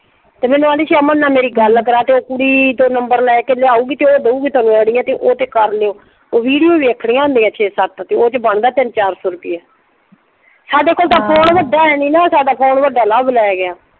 ਤੇ ਮੈਨੂੰ ਆਹਂਦੀ ਸੀ ਅਮਨ ਨਾਲ ਮੇਰੀ ਗੱਲ ਕਰਾ ਦਿਓ। ਕੁੜੀ ਤੋਂ ਨੰਬਰ ਲੈ ਕੇ ਲਿਆਉਗੀ ਤੇ ਉਹ ਦਊਗੀ ਆਈਡੀਆਂ ਤੇ ਉਹ ਤੇ ਕਰ ਲਿਓ ਉਹ ਵੀਡਿਓ ਵੇਖਣੀਆਂ ਹੁੰਦੀਆਂ ਛੇ ਸੱਤ ਤੇ ਉਹ ਚ ਬਣਦਾ ਤਿੰਨ ਚਾਰ ਸੌ ਰੁਪਈਆ ਸਾਡੇ ਕੋਲ ਤਾਂ ਫੋਨ ਵੱਡਾ ਹੈ ਨਈਂ ਨਾ ਸਾਡਾ ਕੋਲ ਤਾਂ ਫੋਨ ਵੱਡਾ ਹੈ ਨਈਂ ਨਾ ਸਾਡਾ ਫੋਨ ਵੱਡਾ ਲਵ ਲੈ ਗਿਆ।